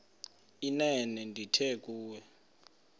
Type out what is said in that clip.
inene ndithi kuwe